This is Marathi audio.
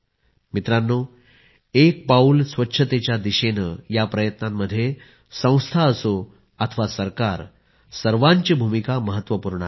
मित्रांनो एक पाऊल स्वच्छतेच्या दिशेने या प्रयत्नांमध्ये संस्था असो अथवा सरकार सर्वांची भूमिका महत्वपूर्ण आहे